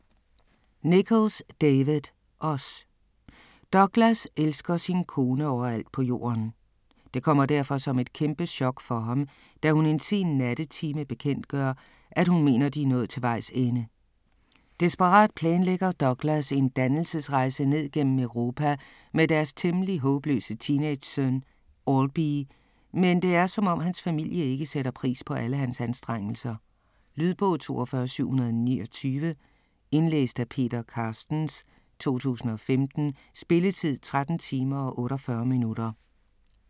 Nicholls, David: Os Douglas elsker sin kone overalt på jorden. Det kommer derfor som et kæmpe chok for ham, da hun en sen nattetime bekendtgør, at hun mener de er nået til vejs ende. Desperat planlægger Douglas en dannelsesrejse ned gennem Europa med deres temmelig håbløse teenagesøn Albie, men det er som om hans familie ikke sætter pris på alle hans anstrengelser. Lydbog 42729 Indlæst af Peter Carstens, 2015. Spilletid: 13 timer, 48 minutter.